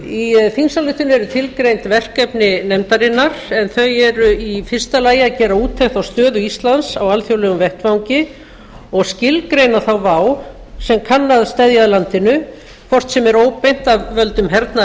í þingsályktuninni eru tilgreind verkefni nefndarinnar en þau eru í fyrsta lagi að gera úttekt á stöðu íslands á alþjóðlegum vettvangi og skilgreina þá vá sem kann að steðja að landinu hvort sem er óbeint af völdum hernaðar